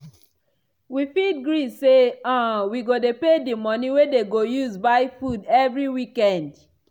wi fit gree say um wi go dey pay di money wey dey go use buy food every weekend?